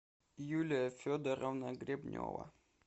юлия федоровна гребнева